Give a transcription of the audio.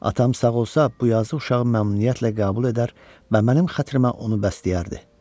Atam sağ olsa bu yazıq uşağı məmnuniyyətlə qəbul edər və mənim xətrimə onu bəsləyərdi.